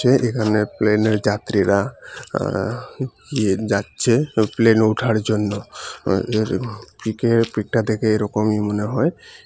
এ এখানে প্লেনে যাত্রীরা আ গিয়ে যাচ্চে প্লেনে উঠার জন্য অ এ ফিকের পিকটা দেখে এরকমই মনে হয়।